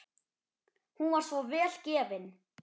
Hún var svo vel gefin.